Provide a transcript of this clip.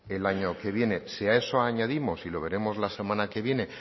el año que viene si a eso añadimos y lo veremos la semana que viene